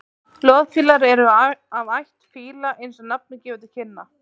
loðfílar eru af ætt fíla eins og nafnið gefur til kynna